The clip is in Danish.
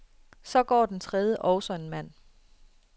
Så går den tredje, også en mand.